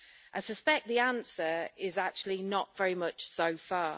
I suspect the answer is actually not very much so far.